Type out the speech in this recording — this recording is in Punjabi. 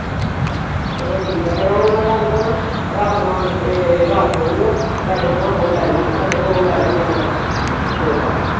ਚਲੋ ਠੀਕ ਆ ਫਿਰ ਹੁਣ ਤੁਹਾਨੂੰ ਮੈਂ, ਰਾਤ ਨੂੰ ਆਣ ਕੇ ਏਹ ਰਾਤ ਨੂੰ ਅਉਗਾ, ਤੁਹਾਡੇ ਕੋਲੋਂ ਉਹ ਤੁਹਾਡੇ ਘਰੋਂ ਉਹ ਲੇਜਊਗਾ ਮੈਂ ਸੌਦਾ